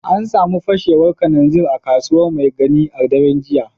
An samu fashewar kananzir a Kasuwa Maigani a daren jiya